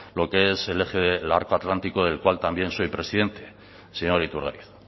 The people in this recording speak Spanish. lo que es el eje del arco atlántico del cual también soy presidente señor iturgaiz